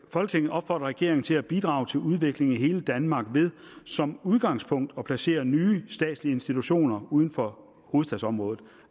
folketinget opfordrer regeringen til at bidrage til udvikling i hele danmark ved som udgangspunkt at placere nye statslige institutioner uden for hovedstadsområdet